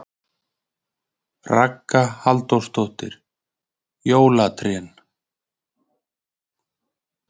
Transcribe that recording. Ragna Halldórsdóttir: Jólatrén?